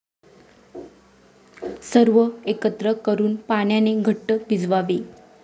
सर्व एकत्र करून पाण्याने घट्ट भिजवावे.